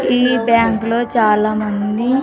ఈ బ్యాంకులో చాలామంది.